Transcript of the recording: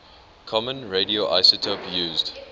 common radioisotope used